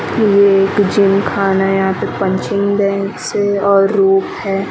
ये एक जिम खाना है यहां पे पंचिंग बैग्स हैं और रोप है।